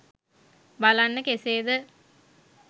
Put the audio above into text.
බලන්න කෙසේ ද?